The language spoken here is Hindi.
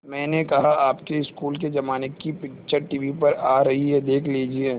मैंने कहा आपके स्कूल के ज़माने की पिक्चर टीवी पर आ रही है देख लीजिये